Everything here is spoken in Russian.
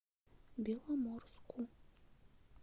беломорску